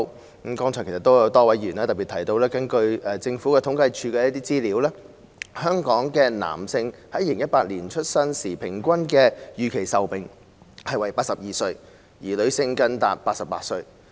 正如剛才多位議員特別提到，根據政府統計處的資料，在2018年，香港男性的出生時預期平均壽命為82歲，而女性更達88歲。